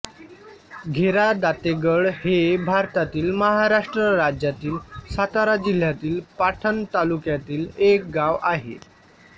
घेरादातेगड हे भारतातील महाराष्ट्र राज्यातील सातारा जिल्ह्यातील पाटण तालुक्यातील एक गाव आहे